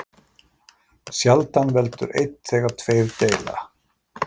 Sjaldan veldur einn þegar tveir deila.